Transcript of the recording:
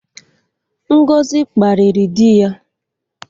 Ngozi kparịrị dị ya.